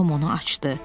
Tom onu açdı.